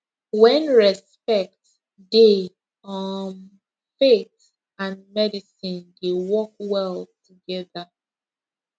when respect dey um faith and medicine dey work well together